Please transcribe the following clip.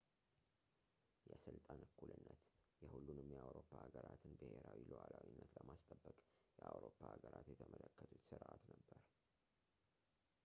የስልጣን እኩልነት የሁሉንም የአውሮፓ ሀገራትን ብሄራዊ ሉዓላዊነትን ለማስጠበቅ የአውሮፓ ሀገራት የተመለከቱት ስርዓት ነበር